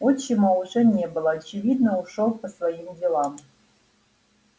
отчима уже не было очевидно ушёл по своим делам